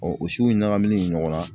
o siw ɲagamilen ɲɔgɔn na